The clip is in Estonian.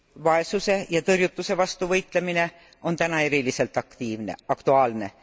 Vaesuse ja tõrjutuse vastu võitlemine on täna eriliselt aktuaalne.